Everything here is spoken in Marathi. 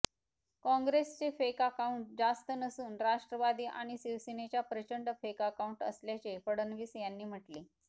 काँग्रेसचे फेक अकाउंट जास्त नसून राष्ट्रवादी आणि शिवसेनेच्या प्रचंड फेक अकाऊंट असल्याचे फडणवीस यांनी म्हटले